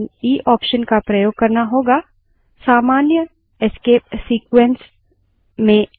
हम echo command के साथ escape sequences भी इस्तेमाल कर सकते हैं